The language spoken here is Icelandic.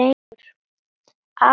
Afi Sævar.